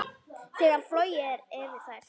Þegar flogið er yfir þær.